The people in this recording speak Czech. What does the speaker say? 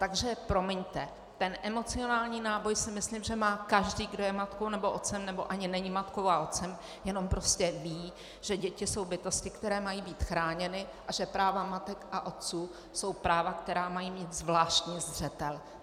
Takže promiňte, ten emocionální náboj si myslím, že má každý, kdo je matkou nebo otcem, nebo ani není matkou a otcem, jenom prostě ví, že děti jsou bytosti, které mají být chráněny, a že práva matek a otců jsou práva, která mají mít zvláštní zřetel.